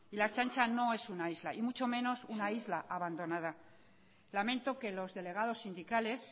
la ertzaintza no es una isla y mucho menos una isla abandonada lamento que los delegados sindicales